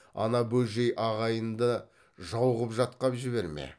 ана бөжей ағайынды жау қып жатқап жіберме